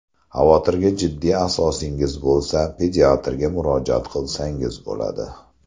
Xavotirga jiddiy asosingiz bo‘lsa pediatrga murojaat qilsangiz bo‘ladi.